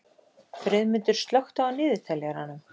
Friðmundur, slökktu á niðurteljaranum.